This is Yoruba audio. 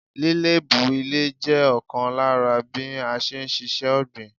Lílébú ilè jẹ́ ọ̀kan lára bí a n síse ọ̀gbìn